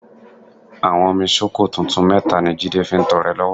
Àwọ́nmi sóko tuntun mẹ́ta ni Jídé fi ń tọrẹ lọ́wọ́